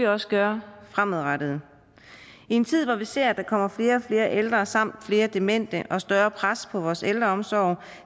også gøre fremadrettet i en tid hvor vi ser at der kommer flere og flere ældre samt flere demente og et større pres på vores ældreomsorg